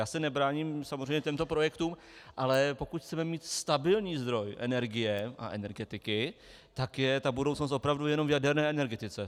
Já se nebráním samozřejmě těmto projektům, ale pokud chceme mít stabilní zdroj energie a energetiky, tak je ta budoucnost opravdu jenom v jaderné energetice.